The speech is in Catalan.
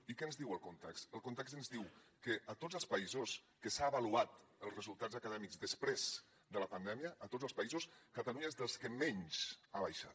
i què ens diu el context el context ens diu que de tots els països en què s’han avaluat els resultats acadèmics després de la pandèmia de tots els països catalunya és dels que menys ha baixat